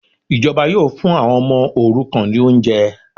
Ìjọba yóò fún àwọn ọmọ òrukàn ní oúnjẹ